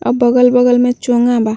और बगल-बगल में चोंगा बा।